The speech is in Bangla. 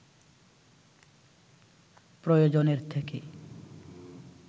প্রয়োজনের থেকে